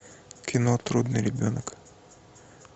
кино трудный ребенок